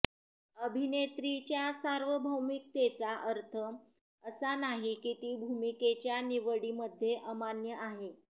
अभिनेत्रीच्या सार्वभौमिकतेचा अर्थ असा नाही की ती भूमिकेच्या निवडीमध्ये अमान्य आहे